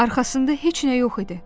Arxasında heç nə yox idi.